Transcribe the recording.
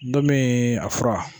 Dɔ min... a fura